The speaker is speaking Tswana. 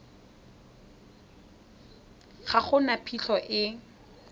ga go na phitlho e